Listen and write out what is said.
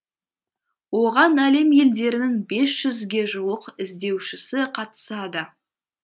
оған әлем елдерінің бес жүзге жуық іздеушісі қатысады